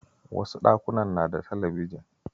Wasu ɗakunan na da talabijin.